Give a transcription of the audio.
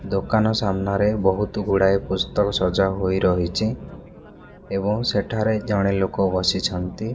ଦୋକାନ ସାମ୍ନାରେ ବହୁତୁ ଗୁଡ଼ାଏ ପୁସ୍ତକ ସଜା ହୋଇ ରହିଛି ଏବଂ ସେଠାରେ ଜଣେ ଲୋକ ବସିଛନ୍ତି।